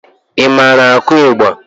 I maara akụ ịgba?